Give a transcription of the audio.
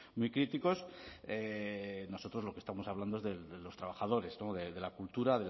muy críticos nosotros lo que estamos hablando es de los trabajadores de la cultura